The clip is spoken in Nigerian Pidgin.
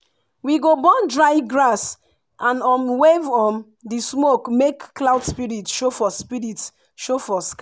we go burn dry grass and um wave um di smoke make cloud spirit show for spirit show for sky.